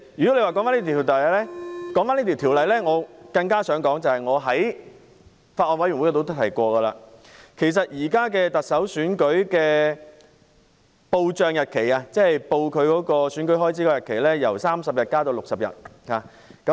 主席，說回這項《條例草案》，我想指出一點，是我在法案委員會也提過的，就是現時特首選舉的報帳日期——即申報選舉開支的日期——由30天增至60天，與立法會看齊。